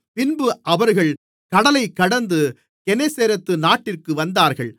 பின்பு அவர்கள் கடலைக்கடந்து கெனேசரேத்து நாட்டிற்கு வந்தார்கள்